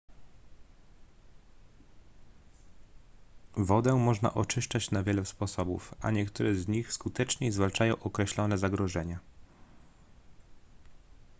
wodę można oczyszczać na wiele sposobów a niektóre z nich skuteczniej zwalczają określone zagrożenia